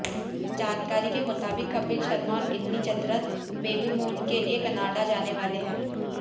जानकारी के मुताबिक कपिल शर्मा और गिन्नी चतरथ बेबीमून के लिए कनाडा जाने वाले हैं